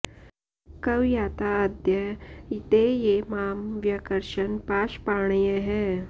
क्व याता अद्य ते ये मां व्यकर्षन् पाशपाणयः